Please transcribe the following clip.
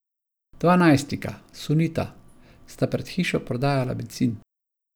Dva najstnika, sunita, sta pred hišo prodajala bencin.